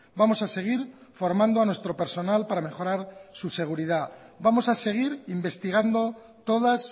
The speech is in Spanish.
vamos a seguir formando a nuestro personal para mejorar su seguridad vamos a seguir investigando todas